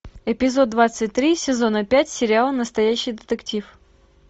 эпизод двадцать три сезона пять сериала настоящий детектив